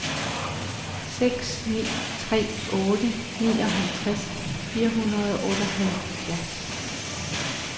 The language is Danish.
seks ni tre otte nioghalvtreds fire hundrede og otteoghalvfjerds